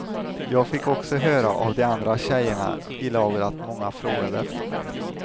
Jag fick också höra av de andra tjejerna i laget att många frågade efter mig.